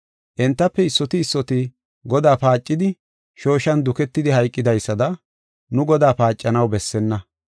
Entafe issoti issoti Godaa paacidi shooshan duketidi hayqidaysada nu Godaa paacanaw bessenna.